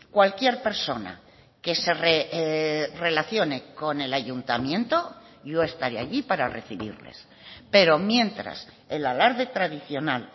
cualquier persona que se relacione con el ayuntamiento yo estaré allí para recibirles pero mientras el alarde tradicional